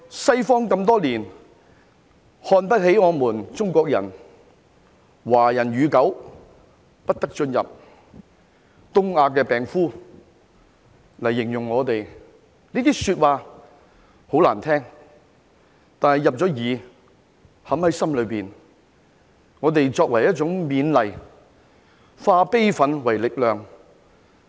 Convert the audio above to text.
西方多年來看不起我們中國人，說"華人與狗不得進入"，以"東亞病夫"來形容我們，這些說話很難聽，但已經入耳，已經嵌入心中，我們以此作為一種勉勵，化悲憤為力量。